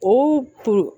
Ko to